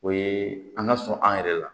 O ye an ka sɔn an yɛrɛ la